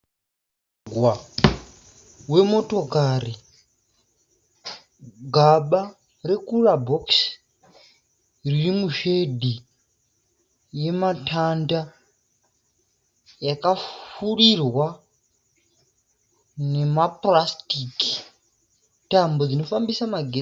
Mugwagwa wemotakari. Gaba rekurabhokisi riri mushedhi yematanda yakapfurirwa nemapurasitiki. Tambo dzinofambisa magetsi.